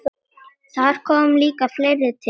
Þar kom líka fleira til.